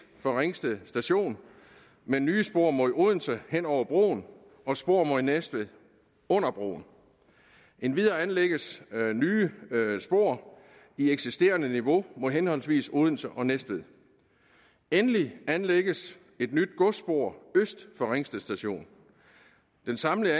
for ringsted station med nye spor mod odense hen over broen og spor mod næstved under broen endvidere anlægges nye spor i eksisterende niveau mod henholdsvis odense og næstved endelig anlægges et nyt godsspor øst for ringsted station den samlede